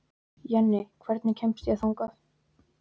Jenni, hvernig kemst ég þangað?